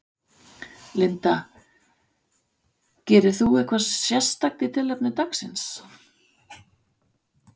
Linda: Gerirðu eitthvað sérstakt í tilefni dagsins?